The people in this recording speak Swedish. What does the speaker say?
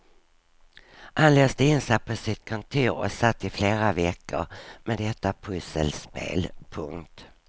Han låste in sig på sitt kontor och satt i flera veckor med detta pusselspel. punkt